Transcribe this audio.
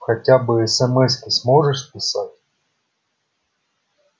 хотя бы эсэмэски сможешь писать